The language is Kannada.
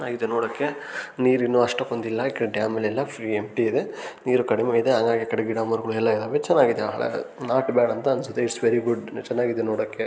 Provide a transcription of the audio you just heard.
ಆ ಇದು ನೋಡಕೆ ನೀರಿನ್ನು ಅಷ್ಟು ಬಂದಿಲ್ಲ ಇಕಡೆ ಡ್ಯಾಮ್ ಯಲ್ಲ ಫ್ರೀ ಎಂಪ್ಟಿ ಇದೆ ನೀರು ಕಡಿಮೆ ಇದೆ ಆಗಾಗಿ ಆಕಡೆ ಗಿಡ ಮರಗುಳೆಲ್ಲ ಚನಗಿದಾವ್ ಹಾಳಾಗಕ್ ನಾಟ್ ಬ್ಯಾಡ್ ಅಂತ ಅನ್ಸತ್ತೆ ಇಟ್ಸ್ ವೆರಿ ಗುಡ್ ಚನಗಿದೆ ನೋಡಕೆ.